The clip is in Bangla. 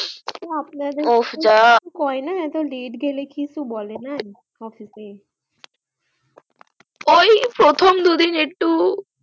ও আপনাদের ওফ যা কিছু কোই না লেট গেলে কিছু বলে না office এ ওই প্রথম দু দিন একটু